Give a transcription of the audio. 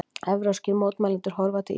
Evrópskir mótmælendur horfa til Íslands